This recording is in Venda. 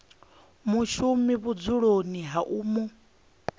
mushumi vhudzuloni ha u mu